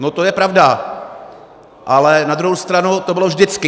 No to je pravda, ale na druhou stranu to bylo vždycky.